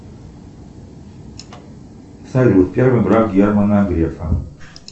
салют первый брак германа грефа